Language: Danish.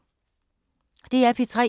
DR P3